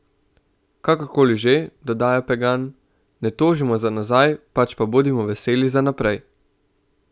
Kakorkoli že, dodaja Pegan: "Ne tožimo za nazaj, pač pa bodimo veseli za naprej.